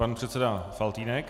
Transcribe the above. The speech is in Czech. Pan předseda Faltýnek.